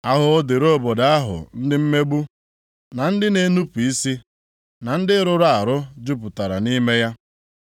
Ahụhụ dịrị obodo ahụ ndị mmegbu, na ndị na-enupu isi, na ndị rụrụ arụ jupụtara nʼime ya.